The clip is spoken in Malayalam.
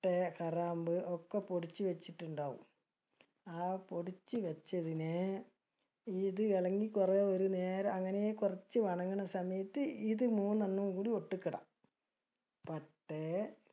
പട്ട, കറാമ്പു ഒക്കെ പൊടിച്ച് വെച്ചിട്ടുണ്ടാവും. ആ പൊടിച്ച് വെച്ചതിനെ, ഇത് ഇളകി കുറയെ ഒരു നേരം അങ്ങനെ കുറച്ച് സമയത്ത്, ഇത് മൂന്നെണ്ണവും കൂടി ഇടാ. പട്ടെ